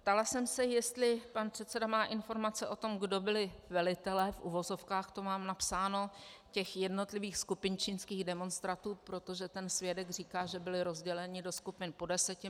Ptala jsem se, jestli pan předseda má informace o tom, kdo byli velitelé, v uvozovkách to mám napsáno, těch jednotlivých skupin čínských demonstrantů, protože ten svědek říká, že byli rozděleni do skupin po deseti.